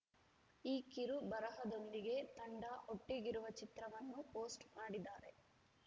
ಈ ಕಿರು ಬರಹದೊಂದಿಗೆ ತಂಡ ಒಟ್ಟಿಗಿರುವ ಚಿತ್ರವನ್ನು ಪೋಸ್ಟ್‌ ಮಾಡಿದ್ದಾರೆ